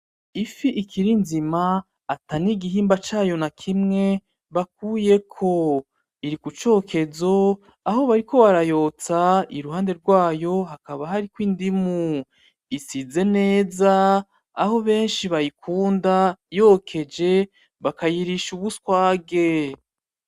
Ifi ikiri nzima atanigimba cayo nakimwe bakuyeko. Iri kucokezo, aho bariko barayotsa, iruhande rwayo hakaba hari indimu. Isize neza aho benshi bayikunda yokeje bakayikoza ubuswage